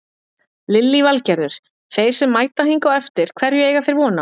Lillý Valgerður: Þeir sem mæta hingað á eftir hverju eiga þeir von á?